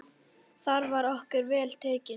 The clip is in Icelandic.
Þar var okkur vel tekið.